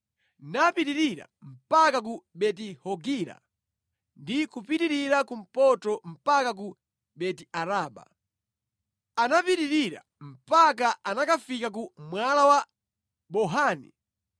napitirira mpaka ku Beti-Hogila ndi kupitirira kumpoto mpaka ku Beti-Araba. Anapitirira mpaka anakafika ku Mwala wa Bohani.